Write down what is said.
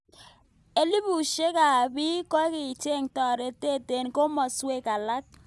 Elibushek ab bik kokicheng toretet eng kimoswek alak.